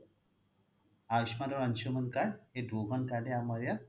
আয়ুষ্মানৰ Anshuman card দুখন card য়ে আমাৰ ইয়াত